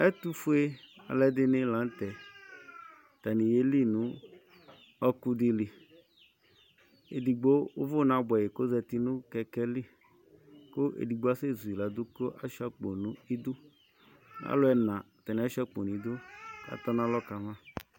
Ɛtufue aluɛdini la nu tɛ atani yeli nu ɔkudili edigbo uvu nabuɛ kɔzati nu kɛkɛli ku edigbo asɛ zuladu kashua alu ɛnadi ashua akpo nu idu katɔnalɔ kama